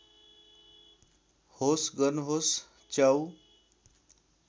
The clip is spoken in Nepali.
होस गर्नुहोस् च्याउ